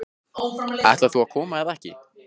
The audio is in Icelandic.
Ætlar þú að koma eða ekki?